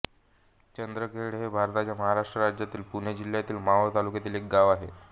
चंदखेड हे भारताच्या महाराष्ट्र राज्यातील पुणे जिल्ह्यातील मावळ तालुक्यातील एक गाव आहे